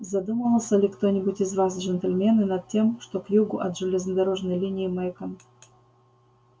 задумывался ли кто-нибудь из вас джентльмены над тем что к югу от железнодорожной линии мейкон